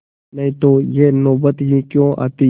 नहीं तो यह नौबत ही क्यों आती